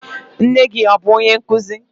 Nne gị abụ onye nkụzi?